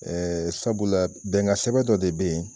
Ɛɛ sabula bɛnkan sɛbɛ dɔ de bɛ yen